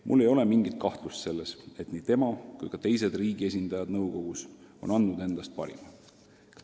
Mul ei ole mingit kahtlust selles, et nii tema kui ka teised riigi esindajad nõukogus on andnud endast parima.